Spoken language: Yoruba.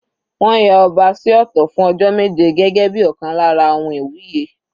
Wọ́n ya ọba sí ọ̀tọ̀ fún ọjọ́ méje gẹ́gẹ́ bíi ọ̀kan lára ohun iwuye.